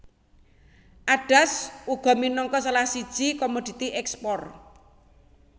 Adas uga minangka salah siji komoditi ekspor